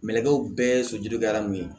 Mɛnɛkɛ bɛɛ ye sojɔkɛla min ye